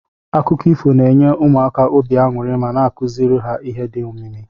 Akụkọ ifo na enye ụmụaka obi anyuri ma na akuziri ha ihe di omimi.